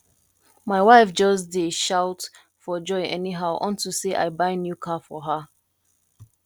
my wife just dey shout for joy anyhow unto say i buy new car for her